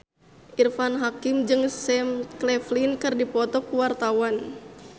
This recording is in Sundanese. Irfan Hakim jeung Sam Claflin keur dipoto ku wartawan